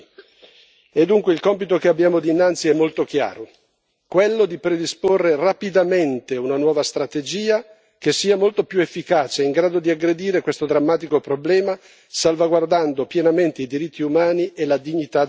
E dunque il compito che abbiamo dinanzi è molto chiaro quello di predisporre rapidamente una nuova strategia che sia molto più efficace e in grado di aggredire questo drammatico problema, salvaguardando pienamente i diritti umani e la dignità delle persone.